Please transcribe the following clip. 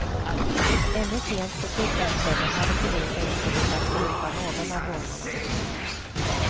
Ännu sent på tisdagskvällen hade polisen inte lyckats gripa någon av rånarna.